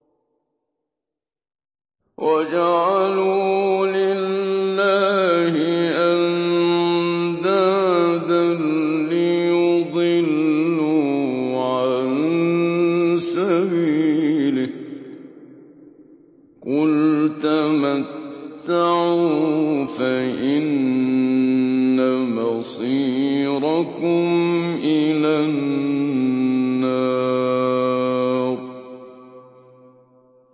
وَجَعَلُوا لِلَّهِ أَندَادًا لِّيُضِلُّوا عَن سَبِيلِهِ ۗ قُلْ تَمَتَّعُوا فَإِنَّ مَصِيرَكُمْ إِلَى النَّارِ